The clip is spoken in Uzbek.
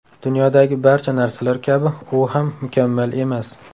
Dunyodagi barcha narsalar kabi u ham mukammal emas.